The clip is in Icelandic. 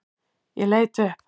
Ég leit upp.